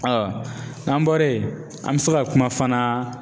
n'an bɔra ye an bi se ka kuma fana